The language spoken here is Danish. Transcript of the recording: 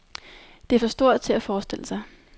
Det er for stort til at forestille sig.